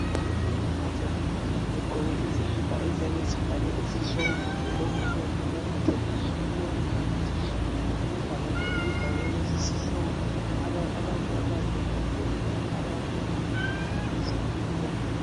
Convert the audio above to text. Sebese mkhankasweni othile begqoke izikipa eziyabe zibhalwe izihloko kumbe lokhu okuyabe kubalethe kulowo mkhankaso. Ngemuva kulebhakane elibhalwe lesisihloko ukwenzela ukuthi abayabe bekhatshana benelise ukubona.